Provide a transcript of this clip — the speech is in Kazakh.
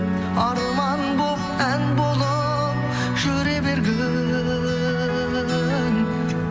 арман болып ән болып жүре бергің